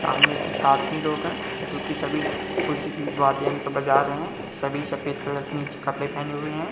सामने कुछ आदमी लोग है जो की सभी कुछ वाद्य यंत्र बज रहे है सभी सफेद कलर के नीचे कपड़े पहने हुए है।